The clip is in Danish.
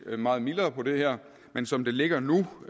meget mildere på det her men som det ligger nu